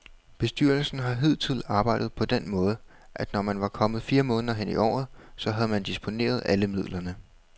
Bestyrelsen har hidtil arbejdet på den måde, at når man var kommet fire måneder hen i året, så havde man disponeret alle midlerne.